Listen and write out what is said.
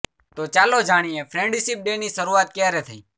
તો ચાલો જાણીએ ફ્રેન્ડશીપ ડે ની શરૂઆત ક્યારે થઈ